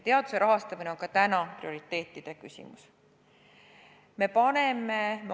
Teaduse rahastamine on ka täna prioriteetide küsimus.